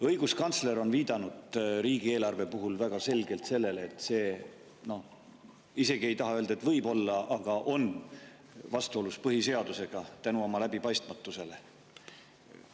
Õiguskantsler on viidanud riigieelarve puhul väga selgelt sellele, et see – isegi ei taha öelda "võib-olla" – on vastuolus põhiseadusega oma läbipaistmatuse tõttu.